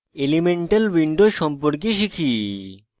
elemental window সম্পর্কে শিখি